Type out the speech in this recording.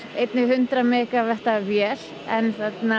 einni hundrað megavatta vél en